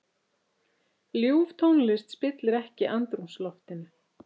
Ljúf tónlist spillir ekki andrúmsloftinu.